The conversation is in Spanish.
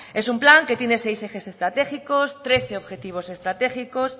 es un plan que tiene seis ejes estratégicos trece objetivos estratégicos